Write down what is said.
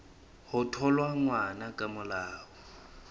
ho thola ngwana ka molao